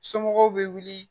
Somɔgɔw be wuli